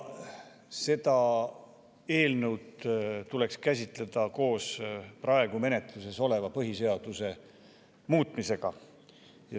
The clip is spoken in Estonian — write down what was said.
Seda eelnõu tuleks käsitleda koos praegu menetluses oleva põhiseaduse muutmisega.